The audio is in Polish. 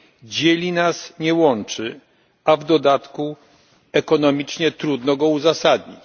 dzieli nas, nie łączy, a w dodatku ekonomicznie trudno go uzasadnić.